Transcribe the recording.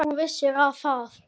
ÞÚ VISSIR AÐ ÞAÐ